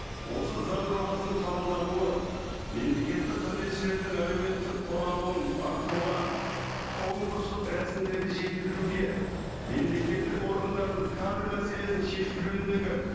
осы заң жобасының қабылдануы мемлекеттік қызметшілердің әлеуметтік қорғалуын арттыруға конкурстық рәсімдерді жетілдіруге мемлекеттік органдардың кадр мәселесін шешу жөніндегі